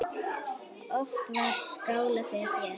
Oft var skálað fyrir þér.